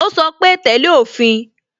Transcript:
Ó sọ pé "tẹ́lẹ̀ òfin"